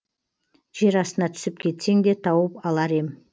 жер астына түсіп кетсең де тауып алар ем